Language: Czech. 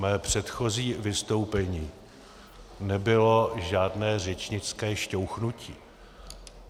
Mé předchozí vystoupení nebylo žádné řečnické šťouchnutí.